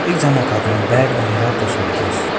एकजनाको हातमा ब्याग अनि रातो सुटकेस --